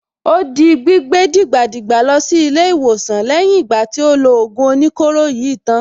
Ó di gbígbé dìgbàdìgbà lọ sí ilé-ìwòsàn lẹ́yìn ìgbà tí ó lo ògùn oníkóro yìí tán.